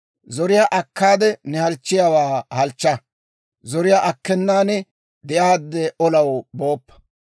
Zoriyaa akkaade ne halchchiyaawaa halchcha; zoriyaa akkenan de'aadde olaw booppa.